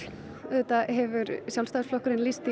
auðvitað hefur Sjálfstæðisflokkurinn lýst því